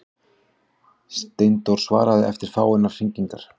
Steindór svaraði eftir fáeinar hringingar.